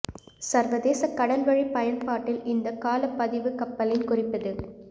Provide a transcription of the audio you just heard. சர்வதேச கடல்வழி பயன்பாட்டில் இந்த கால பதிவு கப்பலின் குறிப்பது